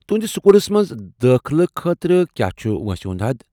تُہنٛدِس سکوٗلس منٛز دٲخلہٕ خٲطرٕ کیاہ چُھ وٲنٛسہِ ہُند حد ؟